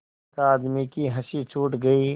एक आदमी की हँसी छूट गई